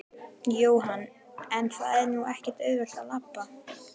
Jóhann: En það er nú ekkert auðvelt að labba?